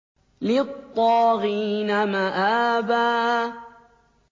لِّلطَّاغِينَ مَآبًا